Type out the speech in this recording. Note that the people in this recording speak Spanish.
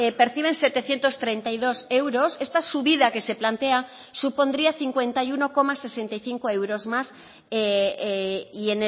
perciben setecientos treinta y dos euros esta subida que se plantea supondría cincuenta y uno coma sesenta y cinco euros más y